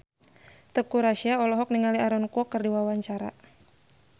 Teuku Rassya olohok ningali Aaron Kwok keur diwawancara